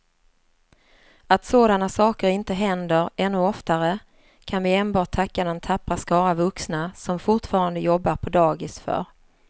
Att sådana saker inte händer ännu oftare kan vi enbart tacka den tappra skara vuxna som fortfarande jobbar på dagis för.